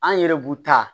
An yɛrɛ b'u ta